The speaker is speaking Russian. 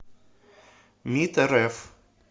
мид рф